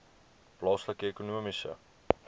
plaaslike ekonomiese